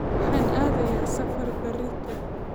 Waxaan aadayaa safar berrito